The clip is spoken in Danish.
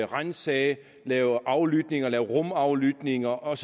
ransage lave aflytninger lave rumaflytninger og